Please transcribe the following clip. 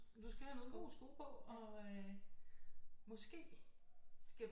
Du skal have nogle gode sko på og måske skal